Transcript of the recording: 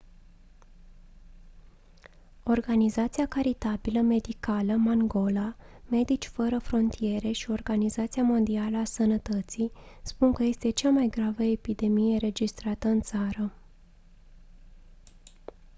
organizația caritabilă medicală mangola medici fără frontiere și organizația mondială a sănătății spun că este cea mai gravă epidemie înregistrată în țară